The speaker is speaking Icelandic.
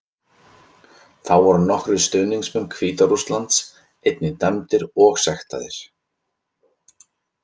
Þá voru nokkrir stuðningsmenn Hvíta Rússlands einnig dæmdir og sektaðir.